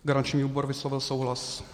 Garanční výbor vyslovil souhlas.